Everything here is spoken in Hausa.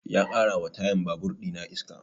Ya ƙara wa tayan babur ina iska